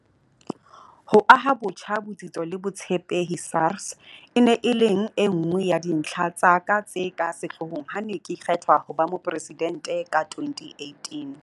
Ho aha botjha botsitso le botshepehi SARS e ne e leng e nngwe ya dintlha tsa ka tse ka sehlohlolong ha ke ne ke kgethwa ho ba Mopresidente ka 2018.